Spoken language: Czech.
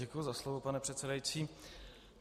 Děkuji za slovo, pane předsedající.